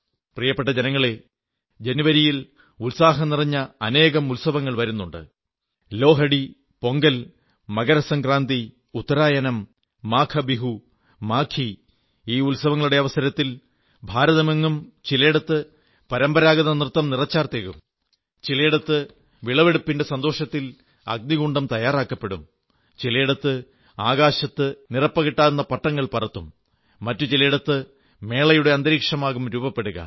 പ്രിയപ്പെട്ട ജനങ്ങളേ ജനുവരിയിൽ ഉത്സാഹം നിറഞ്ഞ അനേകം ഉത്സവങ്ങൾ വരുന്നുണ്ട് ലോഹഡി പൊംഗൽ മകരസംക്രാന്തി ഉത്തരായനം മാഘബിഹു മാഘീ ഈ ഉത്സവങ്ങളുടെ അവസരത്തിൽ ഭാരതമെങ്ങും ചിലയിടത്ത് പരമ്പരാഗത നൃത്തം നിറച്ചാർത്തേകും ചിലയിടത്ത് വിളവെടുപ്പിന്റെ സന്തോഷത്തിൽ അഗ്നികുണ്ഡം തയ്യാറാക്കപ്പെടും ചിലേടത്ത് ആകാശത്ത് നിറപ്പകിട്ടാർന്ന പട്ടങ്ങൾ പറത്തും മറ്റു ചിലേടത്ത് മേളയുടെ അന്തരീക്ഷമാകും രൂപപ്പെടുക